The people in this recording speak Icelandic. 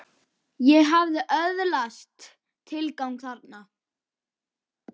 Ég hafði öðlast tilgang þarna.